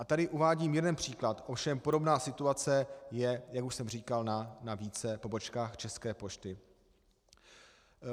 A tady uvádím jeden příklad, ovšem podobná situace je, jak už jsem říkal, na více pobočkách České pošty.